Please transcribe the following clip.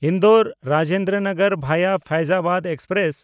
Indore-Rajendra Nagar ᱵᱷᱟᱭᱟ ᱯᱷᱟᱭᱡᱽᱟᱵᱟᱫ express